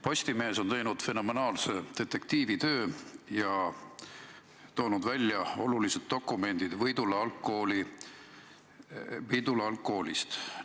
Postimees on teinud fenomenaalse detektiivitöö ja toonud välja olulised dokumendid Võidula algkoolist.